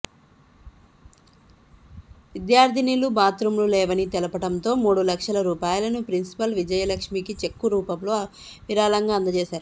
విద్యార్థినులు బాత్రూమ్లు లేవని తెలపడంతో మూడు లక్షల రూపాయలను ప్రిన్సిపల్ విజయలక్ష్మీకి చెక్కు రూపంలో విరాళంగా అందచేశారు